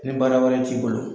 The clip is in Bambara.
Ni baara wɛrɛ t'i bolo